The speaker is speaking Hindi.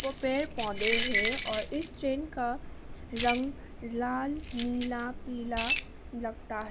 पेड़ पौधे है और इस ट्रेन का रंग लाल नीला पीला लगता है।